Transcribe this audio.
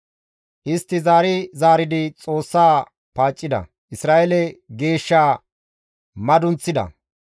Istti zaari zaaridi Xoossa paaccida; Isra7eele Geeshshaa madunththida.